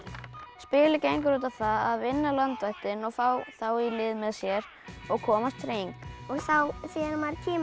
spilið gengur út á það að vinna landvættina og fá þá í lið með sér og komast hring þegar maður kemur